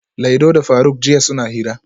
Laido da faruk jiya suna hira